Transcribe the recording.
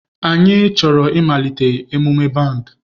Anyị chọrọ ịmalite emume band